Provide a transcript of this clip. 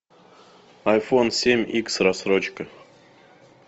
айфон семь икс рассрочка